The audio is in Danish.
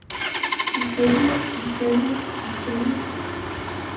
ifølge ifølge ifølge